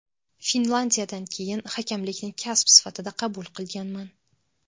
Finlyandiyadan keyin hakamlikni kasb sifatida qabul qilganman.